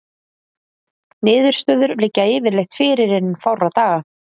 Niðurstöður liggja yfirleitt fyrir innan fárra daga.